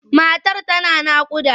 Matar tana naƙuda.